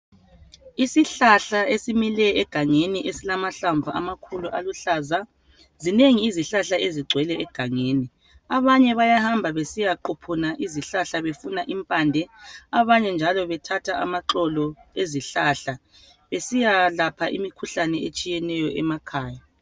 Isihlahla esimile egangeni esilamahlamvu amakhulu aluhlaza. Zinengi izihlahla ezigcwele egangeni, abanye bayahamba besiyaquphuna izihlahla befuna impande. Abanye njalo bethatha amaxolo ezihlahla besiya lapha imikhuhlane etshiyeneyo emakhaya.